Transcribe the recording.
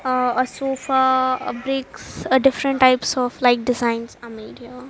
ah a sofa a bricks different types of like designs are made here.